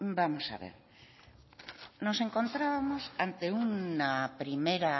vamos a ver nos encontrábamos ante una primera